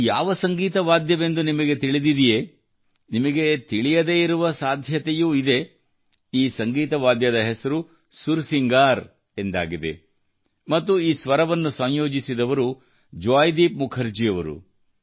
ಇದು ಯಾವ ಸಂಗೀತ ವಾದ್ಯವೆಂದು ನಿಮಗೆ ತಿಳಿದಿದೆಯೇ ನಿಮಗೆ ತಿಳಿಯದೇ ಇರುವ ಸಾಧ್ಯತೆಯೂ ಇದೆ ಈ ಸಂಗೀತ ವಾದ್ಯದ ಹೆಸರು ಸುರಸಿಂಗಾರ್ ಎಂದಾಗಿದೆ ಮತ್ತು ಈ ಸ್ವರವನ್ನು ಸಂಯೋಜಿಸಿದವರು ಜೊಯಿದೀಪ್ ಮುಖರ್ಜಿಯವರು